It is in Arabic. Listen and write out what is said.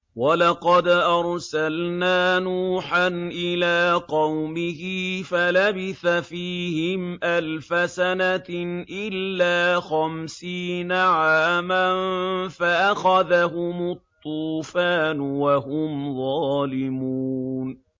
وَلَقَدْ أَرْسَلْنَا نُوحًا إِلَىٰ قَوْمِهِ فَلَبِثَ فِيهِمْ أَلْفَ سَنَةٍ إِلَّا خَمْسِينَ عَامًا فَأَخَذَهُمُ الطُّوفَانُ وَهُمْ ظَالِمُونَ